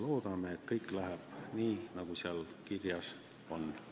Loodame, et kõik läheb nii, nagu seal kirjas on.